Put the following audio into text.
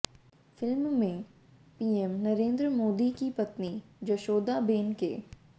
film में PM Narendra Modi की पत्नी जशोदाबेन के